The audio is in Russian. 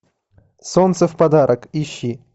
солнце в подарок ищи